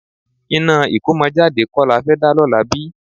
Iná ìkómọjáde kọ́ la fẹ́ dá lọ́la bí?